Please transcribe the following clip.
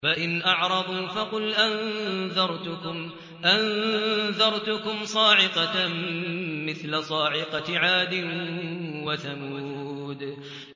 فَإِنْ أَعْرَضُوا فَقُلْ أَنذَرْتُكُمْ صَاعِقَةً مِّثْلَ صَاعِقَةِ عَادٍ وَثَمُودَ